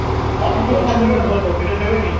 ହଁ ହଁ ସେତେବେଳେହମ୍ ଦକ୍ଷିଣା ନେବେ ନି